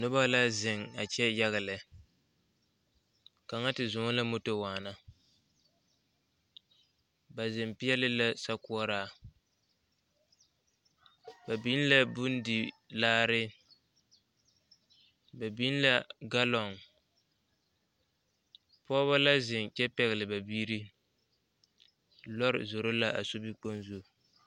Nobɔ la zeŋ a kyɛ yaga lɛ kaŋa ti zɔɔ la moto waana ba zeŋ peɛle la so kɔɔraa ba biŋ la bondilaare ba biŋ la galɔŋ pɔɔbɔ la zeŋ kyɛ pɛgle ba biire lɔre zoro ka a sobikpoŋ zu.